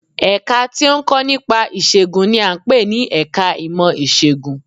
Ẹ̀ka tí ó ń kọ́ nípa ìṣègùn n i à ń pè ní ẹka ìmọ̀ Ìṣègùn